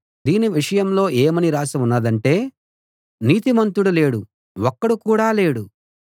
దీని విషయంలో ఏమని రాసి ఉన్నదంటే నీతిమంతుడు లేడు ఒక్కడు కూడా లేడు